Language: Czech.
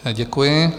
Děkuji.